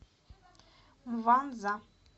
мванза